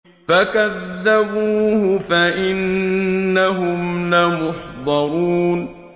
فَكَذَّبُوهُ فَإِنَّهُمْ لَمُحْضَرُونَ